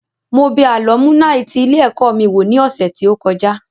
Mo bẹ àlọ́múnàì ti ilé ẹ̀kọ́ mi wò ní ọ̀sẹ̀ tí ó kọjá